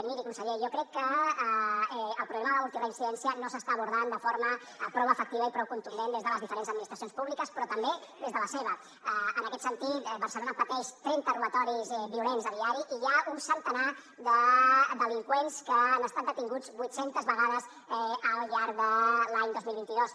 miri conseller jo crec que el problema de la multireincidència no s’està abordant de forma prou efectiva i prou contundent des de les diferents administracions públiques però també des de la seva en aquest sentit barcelona pateix trenta robatoris violents a diari i hi ha un centenar de delinqüents que han estat detinguts vuit centes vegades al llarg de l’any dos mil vint dos